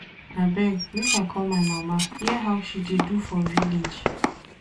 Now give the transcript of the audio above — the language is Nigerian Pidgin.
Abeg make I call my mama hear how she dey do for village.